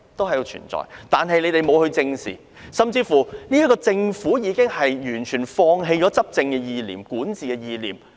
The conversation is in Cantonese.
可是，他們不但沒有正視，連政府亦已完全放棄了執政或管治的意念。